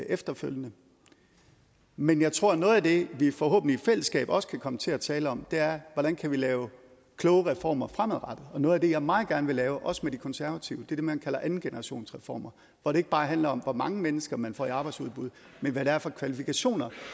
efterfølgende men jeg tror at noget af det vi forhåbentlig i fællesskab også kan komme til at tale om er hvordan vi kan lave kloge reformer fremadrettet og noget af det jeg meget gerne vil lave også med de konservative er det man kalder andengenerationsreformer hvor det ikke bare handler om hvor mange mennesker man får i arbejdsudbud men hvad det er for kvalifikationer